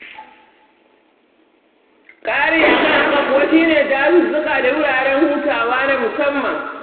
Ƙari a kan haka kuwa shi ne dazuzzuka da wuraren hutawa na musamman.